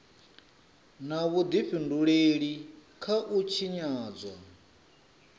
na vhudifhinduleli kha u tshinyadzwa